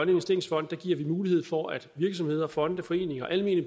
investeringsfond giver vi mulighed for at virksomheder fonde foreninger almene